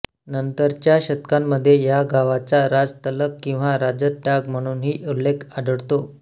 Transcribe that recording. नंतरच्या शतकामध्ये या गावाचा राजतलक किंवा राजतडाग म्हणूनही उल्लेख आढळतो